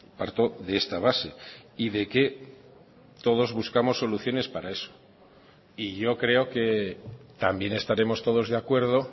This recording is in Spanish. parto de esta base y de que todos buscamos soluciones para eso y yo creo que también estaremos todos de acuerdo